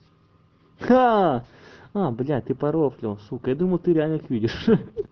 ха а бля ты порофлил сука я думал ты реально их видишь